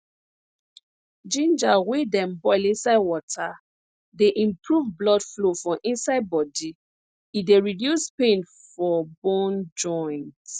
ginger wey dem boil inside water dey improve blood flow for inside body e dey reduce pain for bone joints